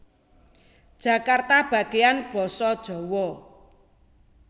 Jakarta Bagian Basa Djawa